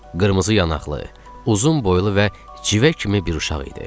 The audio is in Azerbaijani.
Qırmızı yanaqlı, uzun boylu və cıvə kimi bir uşaq idi.